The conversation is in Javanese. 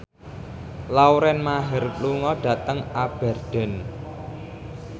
Lauren Maher lunga dhateng Aberdeen